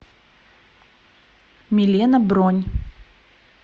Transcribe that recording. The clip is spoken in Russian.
милена бронь